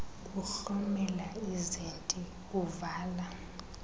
kuhlomela izinti uvala